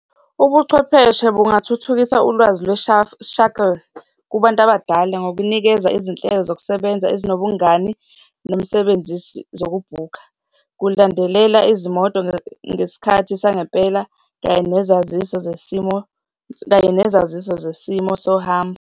Ubuchwepheshe bungathuthukisa ulwazi shuttle kubantu abadala ngokunikeza izinhlelo zokusebenza ezinobungani nemisebenzisi zokubhukha, ukulandelela izimoto ngesikhathi sangempela, kanye nezaziso zesimo, kanye nezaziso zesimo sohambo.